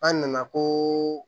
An nana ko